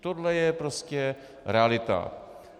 Tohle je prostě realita.